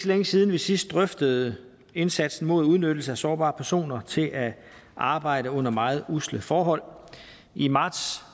længe siden vi sidst drøftede indsatsen mod udnyttelse af sårbare personer til at arbejde under meget usle forhold i marts